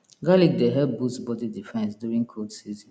garlic dey help boost body defense during cold season